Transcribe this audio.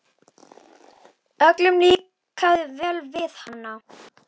Öllum líkaði vel við hana.